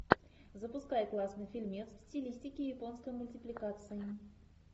запускай классный фильмец в стилистике японской мультипликации